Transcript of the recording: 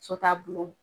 So taabolo